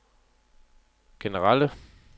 generelle